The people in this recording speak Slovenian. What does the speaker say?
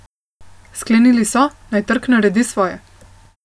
Sklenili so, naj trg naredi svoje.